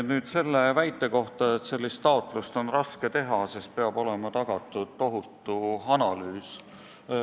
Nüüd selle väite kohta, et sellist taotlust on raske teha, sest peab olema tagatud tohutu analüüs.